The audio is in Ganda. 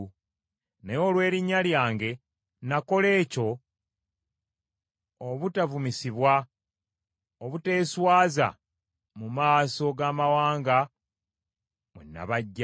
Naye olw’erinnya lyange nakola ekyo obutavumisibwa obuteeswaza mu maaso g’amawanga mwe nabaggya.